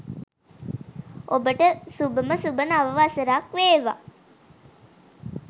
ඔබට සුභම සුභ නව වසරක් වේවා